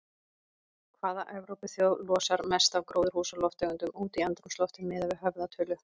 Hvaða Evrópuþjóð losar mest af gróðurhúsalofttegundum út í andrúmsloftið miðað við höfðatölu?